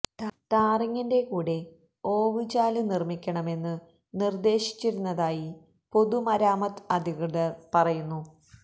ടാറിംഗിന്റെ കൂടെ ഓവു ചാലു നിര്മ്മിക്കണമെന്നു നിര്ദ്ദേശിച്ചിരുന്നതായി പൊതു മരാമത്ത് അധികൃതര് പറയുന്നു